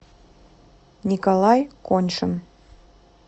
николай коньшин